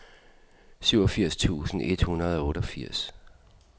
syvogfirs tusind et hundrede og otteogfirs